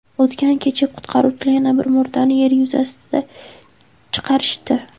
O‘tgan kecha qutqaruvchilar yana bir murdani yer yuzasiga chiqarishdi.